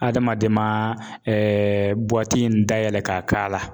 Adamaden ma in dayɛlɛ ka k'a la